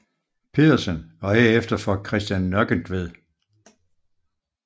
Pedersen og herefter for Christian Nøkkentved